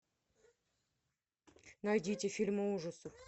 найдите фильмы ужасов